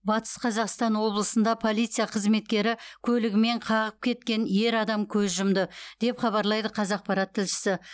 батыс қазақстан облысында полиция қызметкері көлігімен қағып кеткен ер адам көз жұмды деп хабарлайды қазақпарат тілшісі